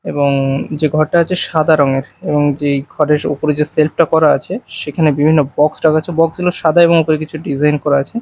এবং যে ঘরটা আছে সাদা রঙের এবং যেই ঘরের উপরে যে সেল্ফ -টা করা আছে সেখানে বিভিন্ন বক্স রাখা আছে বক্স -গুলো সাদা এবং ওপরে কিছু ডিজাইন করা আছে।